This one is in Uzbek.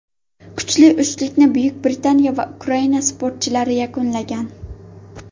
Kuchli uchlikni Buyuk Britaniya va Ukraina sportchilari yakunlagan.